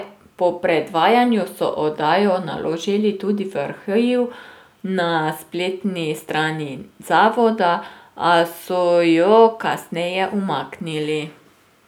Po predvajanju so oddajo naložili tudi v arhiv na spletni strani zavoda, a so jo kasneje umaknili.